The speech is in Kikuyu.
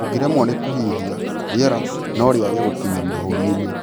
ũngiremwo ni kũhihia, rĩera norĩage gũkinya mahũri-ini